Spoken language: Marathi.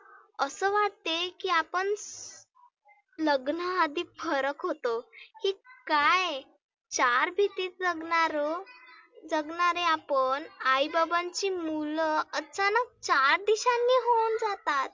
असं वाटते की आपण लग्नाआधी फरक होतो की काय. चार भिंतीत जगणारं जगणारे आपण आई बाबांची मुलं असताना चार दिशांनी निघुन जातात.